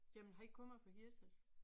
Ja men han kommer fra Hirtshals